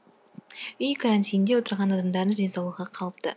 үй карантинде отырған адамдардың денсаулығы қалыпты